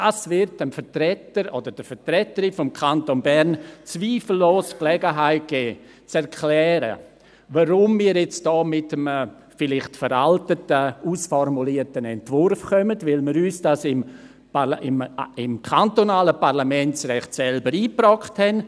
Das wird dem Vertreter oder der Vertreterin des Kantons Bern zweifellos Gelegenheit geben, zu erklären, weshalb wir hier mit einem vielleicht veraltet ausformulierten Entwurf kommen – weil wir uns dies im kantonalen Parlamentsrecht selber eingebrockt haben.